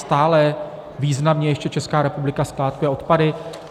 Stále významně ještě Česká republika skládkuje odpady.